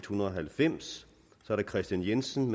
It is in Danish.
hundrede og halvfems kristian jensen